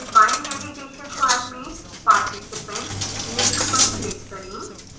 बाएं navigation bar में participants link पर click करें